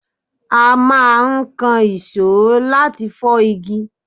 A máa ń ìkànsó láti fọ́ igi